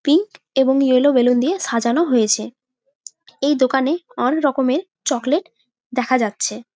Pink এবং yellow balloon দিয়ে সাজানো হয়েছে। এই দোকানে অনেক রকমের চকলেট দেখা যাচ্ছে ।